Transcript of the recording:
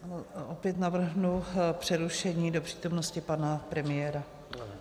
Opět navrhnu přerušení do přítomnosti pana premiéra.